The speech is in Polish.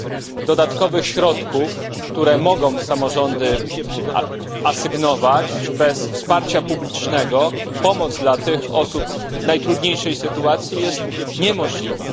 Bez dodatkowych środków, które mogą samorządy asygnować, bez wsparcia publicznego pomoc dla tych osób w najtrudniejszej sytuacji jest niemożliwa.